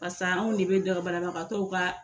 Barisa anw de bɛ banabatɔw ka